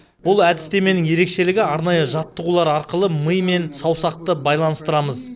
бұл әдістеменің басты ерекшелігі арнайы жаттығулар арқылы ми мен саусақты байланыстыру